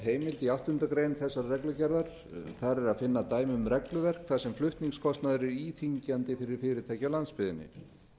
heimild í áttundu greinar þessarar reglugerðar þar er að finna dæmi um regluverk þar sem flutningskostnaður er íþyngjandi fyrir fyrirtæki á landsbyggðinni